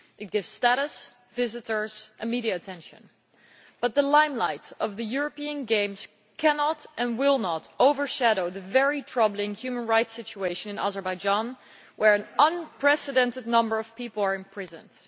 They bring status, visitors and media attention. But the limelight of the European Games cannot and will not overshadow the very troubling human rights situation in Azerbaijan, where an unprecedented number of people are imprisoned.